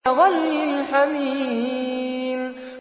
كَغَلْيِ الْحَمِيمِ